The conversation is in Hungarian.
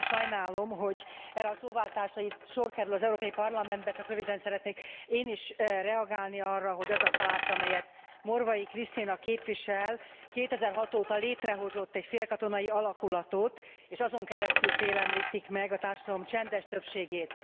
Én nagyon sajnálom, hogy erre a szóváltásra itt sor kerül az Európai Parlamentben, csak röviden szeretnék én is reagálni arra, hogy az a párt, amelyet Morvai Krisztina képvisel, 2006 óta létrehozott egy félkatonai alakulatot és azon keresztül félemlítik meg a társadalom csendes többségét.